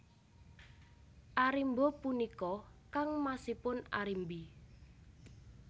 Arimba punika kangmasipun Arimbi